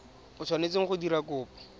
o tshwanetseng go dira kopo